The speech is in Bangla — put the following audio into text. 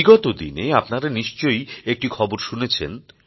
বিগত দিনে আপনারা নিশ্চয় একটি খবর শুনেছেন